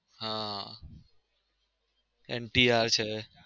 હા NTR છે